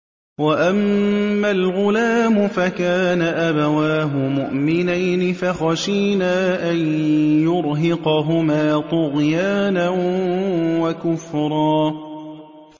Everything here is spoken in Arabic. وَأَمَّا الْغُلَامُ فَكَانَ أَبَوَاهُ مُؤْمِنَيْنِ فَخَشِينَا أَن يُرْهِقَهُمَا طُغْيَانًا وَكُفْرًا